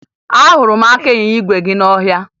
Ahụrụ m aka ịnyịnya igwe ya n'ọhịa